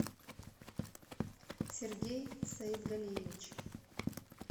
сергей саетгалиевич